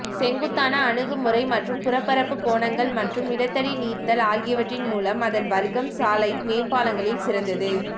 செங்குத்தான அணுகுமுறை மற்றும் புறப்பரப்பு கோணங்கள் மற்றும் நிலத்தடி நீர்த்தல் ஆகியவற்றின் மூலம் அதன் வர்க்கம் சாலை மேம்பாலங்களில் சிறந்தது